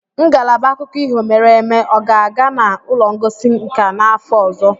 Ngalaba akụkọ ihe mere eme ọ ga-aga na ụlọ ngosi nka n'afọ ọzọ?